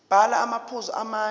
bhala amaphuzu amane